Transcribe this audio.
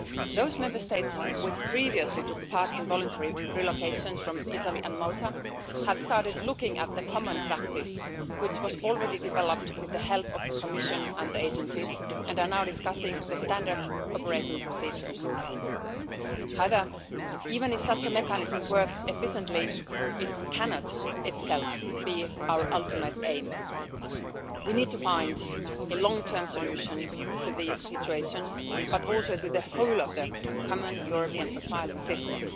Those Member States which previously took part in voluntary relocations from Italy and Malta have started to look at the common practice which was already developed with the help of the Commission and the agencies, and are now discussing standard operating procedures. However, even if such a mechanism worked efficiently, it cannot itself be our ultimate aim. We need to find a long term solution to these situations, but also to the whole of the common European Asylum System.